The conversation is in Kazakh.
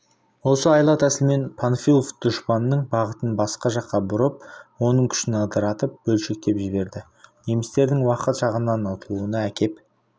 осы айла-тәсілімен панфилов дұшпанның бағытын басқа жаққа бұрып оның күшін ыдыратып бөлшектеп жіберді немістердің уақыт жағынан ұтылуына әкеп